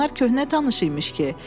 Bunlar köhnə tanış imiş ki.